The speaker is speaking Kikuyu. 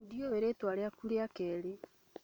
Ndiũĩ rĩtwa rĩaku rĩa kerĩ